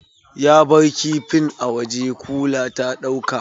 Ya bar kifin a waje, kula ta ɗauka.